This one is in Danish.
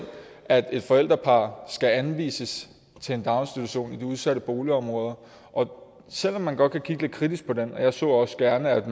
at et forældrepar skal anvises til en daginstitution i de udsatte boligområder selv om man godt kan kigge lidt kritisk på den og jeg så også gerne at